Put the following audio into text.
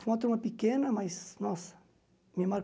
Foi uma turma pequena, mas, nossa, me